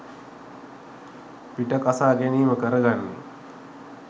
පිට කසා ගැනීම කරගන්නේ.